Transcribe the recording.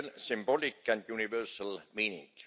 symbolic and universal meaning.